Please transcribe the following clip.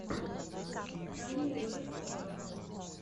канье уэст вево